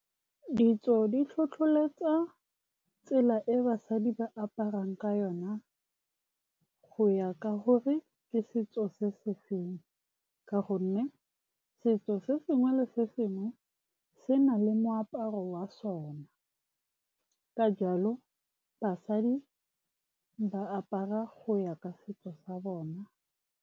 Ditso di tlhotlholetsa tsela e basadi ba aparang ka yona, go ya ka gore ke setso se se feng ka gonne setso se sengwe le sengwe se na le moaparo wa sona. Ka jalo, basadi ba apara go ya ka setso sa bona.